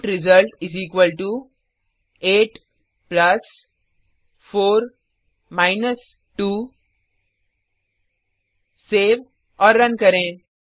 int result 84 2 save और run करें